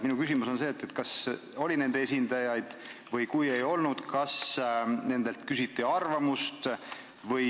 Minu küsimus on, kas seal oli nende esindajaid ja kui ei olnud, kas nendelt küsiti arvamust.